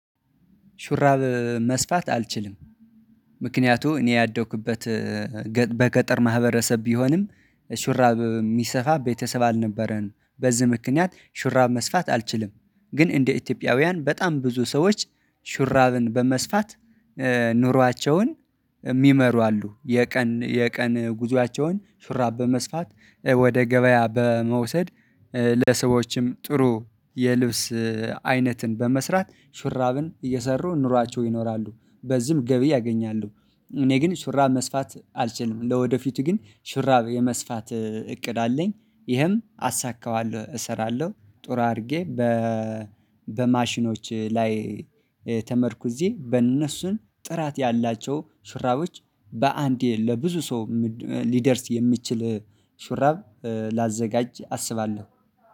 ሹራብ መስፋት አልችልም። ምክንያቱ እኔ ያደኩበት በገጠር ማህበረሰብ ቢሆንም ሹራብ የሚሰፋ ቤተሰብ አልነበረንም በዚህ ምክንያት ሹራብ መስፋት አልችልም። ግን እንደ ኢትዮጵያውያን በጣም ብዙ ሰዎች ሹራብን በመስፋት ኑሯቸውን እሚመሩ አሉ። የቀን የቀን ጉዞአቸውን ሹራብ በመስፋት ወደ ገበያ በመውሰድ ለሰዎችም ጥሩ የልብስ አይነትን በመስራት ሹራብን እየሰሩ ኑሯቸው ይኖራሉ። በዚህም ገቢ ያገኛሉ። እኔ ግን ሹራብ መስፋት አልችልም። እንደወደፊቱ ግን ሹራብ የመስፋት እቅድ አለኝ። ይህም አሳካዋለሁ እሰራለሁ ጥሩ አድርጌ በ በማሽኖች ላይ ተመርኩዤ በእነሱን ጥራት ያላቸው ሹራቦች በአንዴ ለብዙ ሰው ሊደርስ የሚችል ሹራብ ላዘጋጅ አስባለሁ